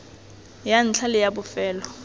ya ntlha le ya bofelo